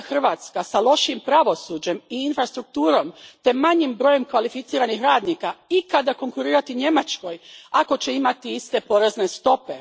jedna Hrvatska, s lošijim pravosuđem i infrastrukturom te manjim brojem kvalificiranih radnika, ikad konkurirati Njemačkoj ako će imati iste porezne stope?